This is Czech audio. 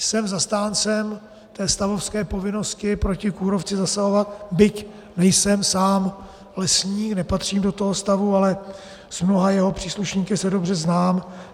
Jsem zastáncem té stavovské povinnosti proti kůrovci zasahovat, byť nejsem sám lesník, nepatřím do toho stavu, ale s mnoha jeho příslušníky se dobře znám.